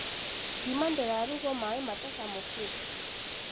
Ngima ndĩrugago maĩ matacemũkĩte.